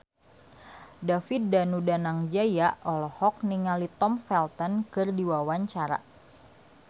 David Danu Danangjaya olohok ningali Tom Felton keur diwawancara